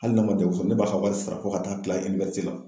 Hali n'a ma sɔrɔ ne b'a ka wari sara fo ka taa se la